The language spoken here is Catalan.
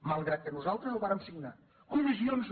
malgrat que nosaltres el vàrem signar comissions no